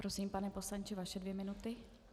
Prosím, pane poslanče, vaše dvě minuty.